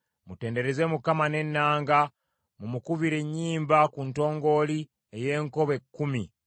Mutendereze Mukama n’ennanga, mumukubire ennyimba ku ntongooli ey’enkoba ekkumi.